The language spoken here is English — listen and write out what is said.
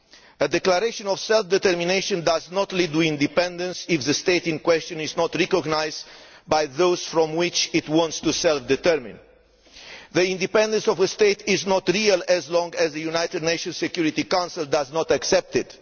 A declaration of self determination does not lead to independence if the state in question is not recognised by those from which it wants to self determine. The independence of a state is not real as long as the United Nations Security Council does not accept it.